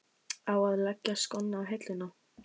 Á að leggja skónna á hilluna?